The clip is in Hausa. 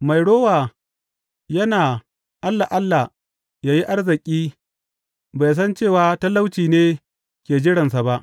Mai rowa yana alla alla ya yi arziki bai san cewa talauci ne ke jiransa ba.